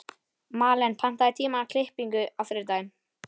Malen, pantaðu tíma í klippingu á þriðjudaginn.